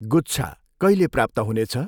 गुच्छा कहिले प्राप्त हुनेछ?